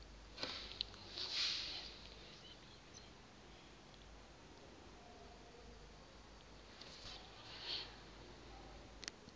akukho namnye oya